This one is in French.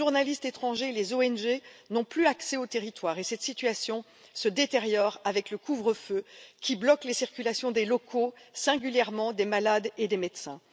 Les journalistes étrangers, les ONG n'ont plus accès au territoire et cette situation se détériore avec le couvre feu qui bloque la circulation des locaux, singulièrement des malades et des médecins.